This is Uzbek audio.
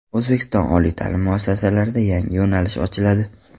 O‘zbekiston oliy ta’lim muassasalarida yangi yo‘nalish ochiladi.